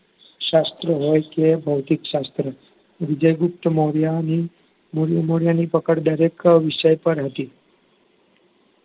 શાસ્ત્ર હોય કે ભૌતિક શાસ્ત્ર વિજય ગુપ્ત મોર્યાની મોર્યની પકડ દરેક વિષય પર હતી